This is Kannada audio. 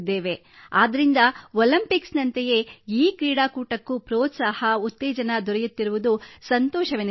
ಆದ್ದರಿಂದ ಒಲಿಂಪಿಕ್ಸ್ ನಂತೆಯೇ ಈ ಕ್ರೀಡಾಕೂಟಕ್ಕೂ ಪ್ರೋತ್ಸಾಹ ಉತ್ತೇಜನ ದೊರೆಯುತ್ತಿರುವುದು ಸಂತೋಷವೆನಿಸುತ್ತದೆ